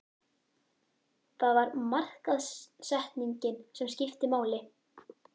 Það var markaðssetningin sem skipti máli.